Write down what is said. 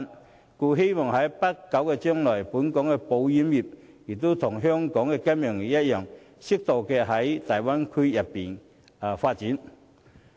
故此，我希望在不久將來，本港的保險業能與金融業一樣，適度在大灣區發展。